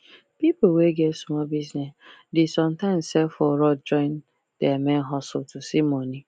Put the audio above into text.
people wey get small business dey sometimes sell for road join their main hustle to see money